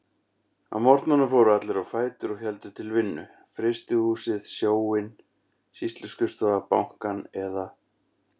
Á morgnana fóru allir á fætur og héldu til vinnu: Frystihúsið, Sjóinn, Sýsluskrifstofuna, Bankann eða